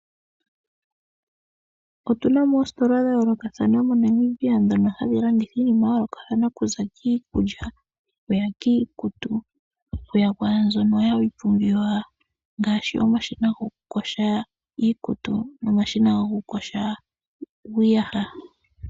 Otuna mo oositola dha yoolokathana moNamibia ndhono hadhi landitha iinima ya yoolokathana okuza kiikulya okuya kiikutu, okuya kwaambyono hayi pumbiwa ngaashi omashina gokuyoga iikutu nomashina gokuyoga iiyaha.